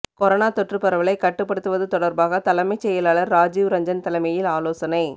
corona தொற்று பரவலை கட்டுப்படுத்துவது தொடர்பாக தலைமைச் செயலாளர் ராஜீவ் ரஞ்சன் தலைமையில் ஆலோசனை